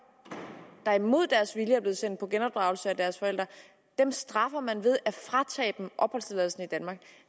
der imod deres vilje er blevet sendt på genopdragelse af deres forældre dem straffer man ved at fratage dem opholdstilladelsen i danmark